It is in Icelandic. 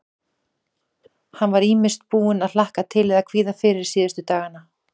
Hann var ýmist búinn að hlakka til eða kvíða fyrir síðustu dagana.